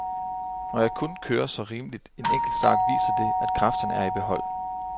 Når jeg kunne køre så rimelig en enkeltstart, viser det, at kræfterne er i behold.